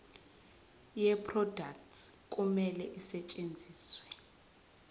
yeproduct kumele isetshenziswe